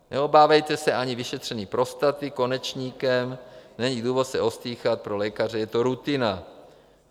Neobávejte se ani vyšetření prostaty konečníkem, není důvod se ostýchat, pro lékaře je to rutina.